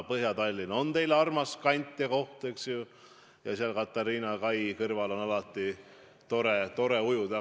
Põhja-Tallinn on teile armas kant ja eks ole, seal Katariina kai kõrval on ju tore ujuda.